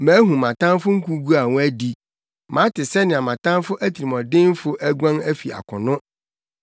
Mahu mʼatamfo nkogu a wɔadi, mate sɛnea mʼatamfo atirimɔdenfo aguan afi akono.